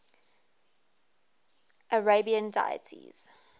arabian deities